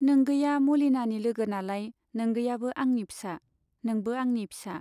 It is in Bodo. नोंगैया मलिनानि लोगो नालाय नोंगैयाबो आंनि फिसा, नोंबो आंनि फिसा।